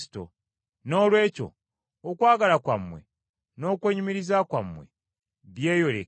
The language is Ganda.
Noolwekyo okwagala kwammwe n’okwenyumiriza kwammwe byeyoleke gye bali.